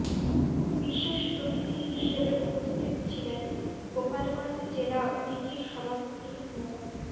বিশেষ অতিথি হিসেবে উপস্থিত ছিলেন গোপালগঞ্জ জেলা উদীচীর সভাপতি মো